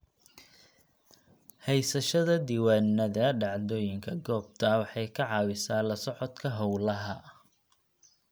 Haysashada diiwaannada dhacdooyinka goobta waxay ka caawisaa la socodka hawlaha.